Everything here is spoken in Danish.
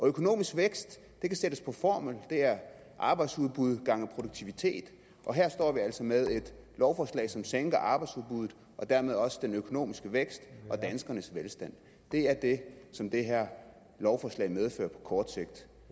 økonomisk vækst kan sættes på formel det er arbejdsudbud gange produktivitet og her står vi altså med et lovforslag som sænker arbejdsudbuddet og dermed også den økonomiske vækst og danskernes velstand det er det som det her lovforslag medfører på kort sigt